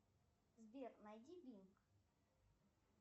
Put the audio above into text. сбер найди бинг